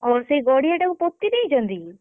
ଓହୋ! ସେ ଗଡିଆ ଟାକୁ ପୋତି ଦେଇଛନ୍ତି କି?